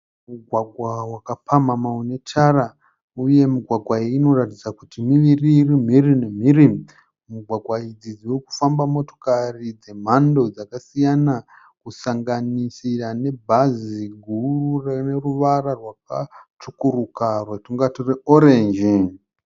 Mugwagwa wakapamhamha unetara uye mugwagwa iyi inoratidza kuti miviri iri mhiri nemhiri. Mugwagwa idzi dzirikufamba motokari dzemhando dzakasiyana kusanganisira nebhazi guru rineruvara rwakatsvukuruka rwatingati rwe orenji.